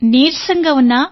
నీరసంగా ఉన్నా